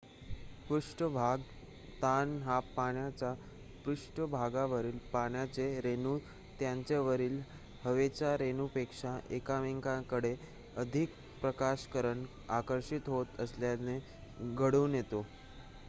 पृष्ठभाग ताण हा पाण्याच्या पृष्ठभागावरील पाण्याचे रेणू त्यांच्या वरील हवेच्या रेणूंपेक्षा एकमेकांकडे अधिक प्रकर्षाने आकर्षित होत असल्याने घडून येतो